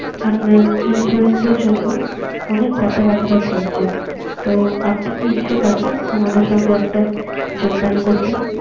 আপনার insurance এর জন্য অনেক কথা বার্তা চলছে। তো আপনি কি ইচ্ছুক আছেন। আমাদের সঙ্গে একটা যোগদান করতে